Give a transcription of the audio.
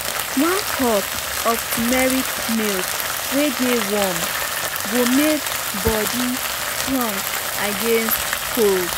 one cup um of turmeric milk wey dey warm go make body um strong against cold. um